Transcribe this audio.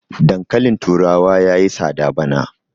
dankalin turawa ya yi tsada bana